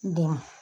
Dɛmɛ